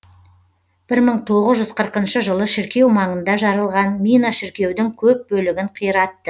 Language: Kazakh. бір мың тоғыз жүз қырқыншы жылы шіркеу маңында жарылған мина шіркеудің көп бөлігін қиратты